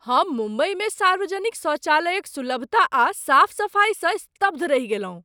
हम मुम्बइमे सार्वजनिक शौचालयक सुलभता आ साफ सफाइसँ स्तब्ध रहि गेलहुँ।